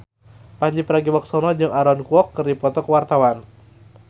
Pandji Pragiwaksono jeung Aaron Kwok keur dipoto ku wartawan